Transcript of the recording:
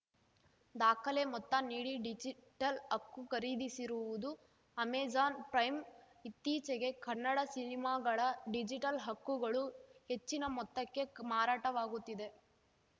ದಾಖಲೆ ಮೊತ್ತ ನೀಡಿ ಡಿಜಿಟಲ್‌ ಹಕ್ಕು ಖರೀದಿಸಿರುವುದು ಅಮೆಜಾನ್‌ ಪ್ರೈಮ್‌ ಇತ್ತೀಚೆಗೆ ಕನ್ನಡ ಸಿನಿಮಾಗಳ ಡಿಜಿಟಲ್‌ ಹಕ್ಕುಗಳು ಹೆಚ್ಚಿನ ಮೊತ್ತಕ್ಕೆ ಮಾರಾಟವಾಗುತ್ತಿದೆ